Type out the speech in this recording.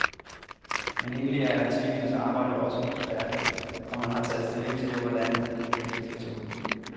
Men egentlig er arkitektens arbejde jo også færdigt, når han har taget stilling til, hvordan det hele skal se ud.